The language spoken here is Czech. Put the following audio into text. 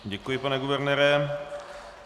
Děkuji, pane guvernére.